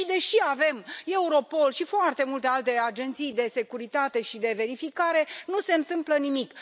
Și, deși avem Europol și foarte multe alte agenții de securitate și de verificare, nu se întâmplă nimic.